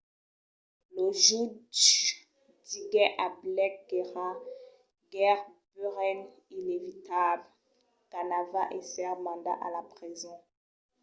lo jutge diguèt a blake qu'èra gaireben inevitable qu'anava èsser mandat a la preson